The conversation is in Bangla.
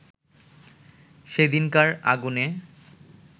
সেদিনকার আগুনে